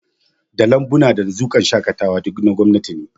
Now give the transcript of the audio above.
Da Lambuna da Dazukan shaƙatawa, duk na gwamnati ne